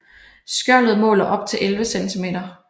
Skjoldet måler op til 11 cm